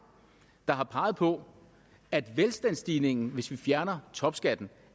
der har peget på at velstandsstigningen hvis vi fjernede topskatten